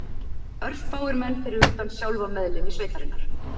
Örfáir menn fyrir utan sjálfa meðlimi sveitarinnar